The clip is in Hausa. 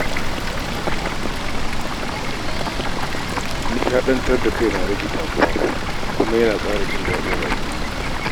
Nishaɗantar da kai na rage damuwa kuma yana ƙara jin daɗin rayuwa.